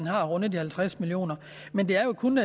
har rundet halvtreds millioner men det er jo kun